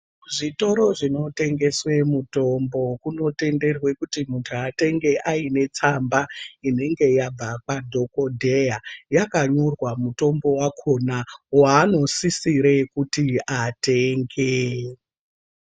Zvitoro zvino tengeswe mutombo kuno tenderwe kuti muntu atenge aine tsamba inenge yabva kwa dhokodheya yaka nyorwa mutombo wakona wa ano sisire kuti atenge.